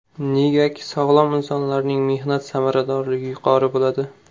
Negaki, sog‘lom insonlarning mehnat samaradorligi yuqori bo‘ladi.